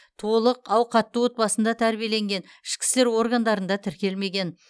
толық ауқатты отбасында тәрбиеленген ішкі істер органдарында тіркелмеген